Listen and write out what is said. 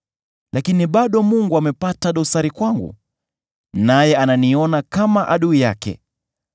Lakini bado Mungu amepata dosari kwangu, naye ananiona kama adui yake.